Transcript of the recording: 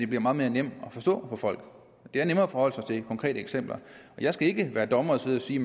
bliver meget nemmere at forstå for folk det er nemmere at forholde sig til konkrete eksempler jeg skal ikke være dommer og sidde og sige